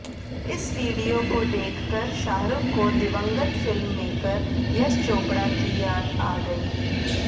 इस वीडियो को देखकर शाहरुख को दिवंगत फिल्ममेकर यश चोपड़ा की याद आ गई